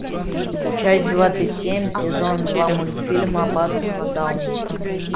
часть двадцать семь сезон два мультфильма аббатство даунтон